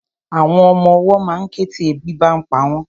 Àwọn ọmọwọ́ ma ń ké tí ebi bá ń pa wọ́n.